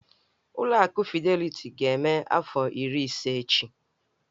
Ụlọ akụ Fideliti ga-eme afọ iri ise echi.